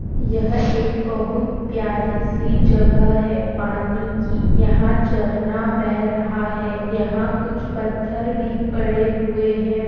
यह एक बहुत प्यारी-सी जगह है पानी की यहाँ झरना बह रहा है यहाँ कुछ पत्थर भी पड़े हुए हैं।